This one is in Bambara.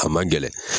A man gɛlɛn